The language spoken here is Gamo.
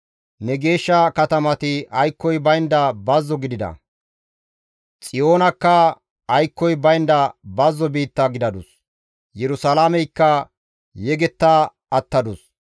Ne geeshsha katamati aykkoy baynda bazzo gidida; Xiyoonakka aykkoy baynda bazzo biitta gidadus; Yerusalaameykka yegetta attadus.